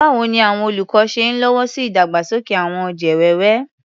Báwo ni àwọn olùkọ́ ṣe ń lọ́wọ́ sí ìdàgbàsókè àwọn ọ̀jẹ̀ wẹ́wẹ́?